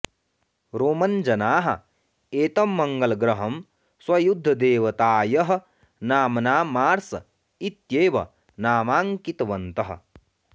Roman जनाः एतं मङ्गलग्रहं स्वयुद्धदेवतायः नाम्ना मार्स् इत्येव नामाङ्कितवन्तः